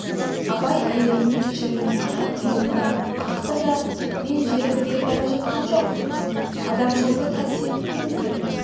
абай әйеліне кешіріммен қарап иығынан қақты да мен желік іздесіп бара жатқам жоқ адамшылық қасиетін іздеп